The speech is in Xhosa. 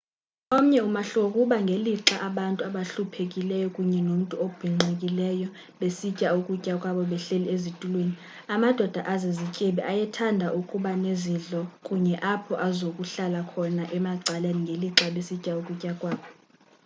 omnye umahluko kukuba ngelixa abantu abahluphekileyo kunye nomntu obhinqileyo besitya ukutya kwabo behleli ezitulweni amadoda azizityebi ayethanda ukuba nezidlo kunye apho azokuhlala khona emacaleni ngelixa besitya ukutya kwabo